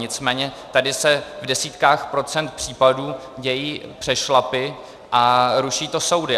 Nicméně tady se v desítkách procentech případů dějí přešlapy a ruší to soudy.